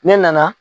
Ne nana